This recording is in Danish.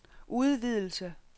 udvidelse